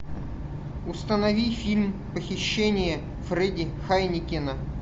установи фильм похищение фредди хайнекена